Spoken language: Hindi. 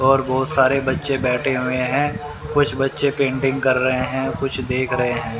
और बहुत सारे बच्चे बैठे हुए हैं कुछ बच्चे पेंटिंग कर रहे हैं कुछ देख रहे हैं।